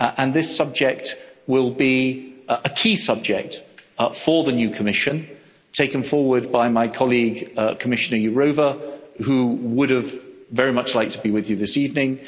This subject will be a key subject for the new Commission, taken forward by my colleague Commissioner Jourová, who would have very much liked to be with you this evening.